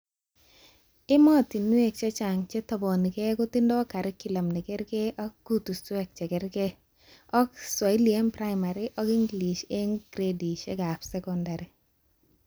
Ematinwek chechang chetabanukee kotindoi curriculum nekerke ak kutushwek chekerke, ak Swahili eng primary ak English eng gradishekab sekondar